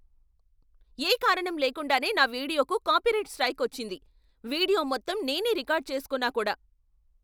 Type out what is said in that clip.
ఏ కారణం లేకుండానే నా వీడియోకు కాపీరైట్ స్ట్రైక్ వచ్చింది. వీడియో మొత్తం నేనే రికార్డ్ చేసుకున్నా కూడా.